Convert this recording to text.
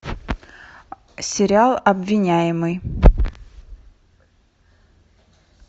сериал обвиняемый